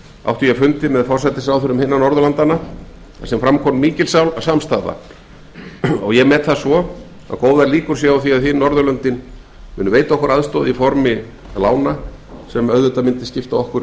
átti ég fund með forsætisráðherrum hinna norðurlandanna þar sem fram kom mikil samstaða og góðar líkur eru á að hin norðurlöndin muni veita okkur aðstoð í formi lánveitingar sem myndi skipta okkur